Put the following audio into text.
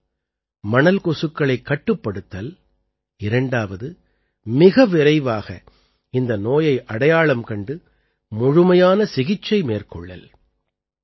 ஒன்று மணல் கொசுக்களைக் கட்டுப்படுத்தல் இரண்டாவது மிக விரைவாக இந்த நோயை அடையாளம் கண்டு முழுமையான சிகிச்சை மேற்கொள்ளல்